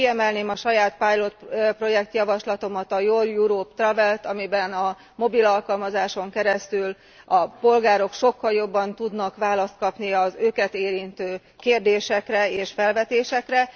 Kiemelném a saját pilot projekt javaslatomat, a Your Europe Travel t, amiben a mobilalkalmazáson keresztül a polgárok sokkal jobban tudnak választ kapni az őket érintő kérdésekre és felvetésekre.